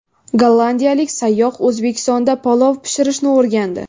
Gollandiyalik sayyoh O‘zbekistonda palov pishirishni o‘rgandi.